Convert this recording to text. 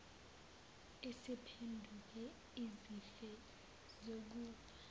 isiphenduke izife zokufa